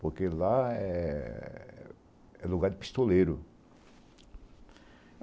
Porque lá é é lugar de pistoleiro.